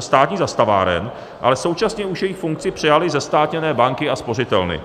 státních zastaváren, ale současně už jejich funkci přejaly zestátněné banky a spořitelny.